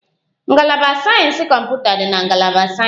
Ngalaba sayensị kọmputa dị na ngalaba sayensị